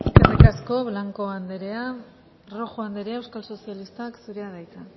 eskerrik asko blanco andrea rojo andrea euskal sozialistak zurea da hitza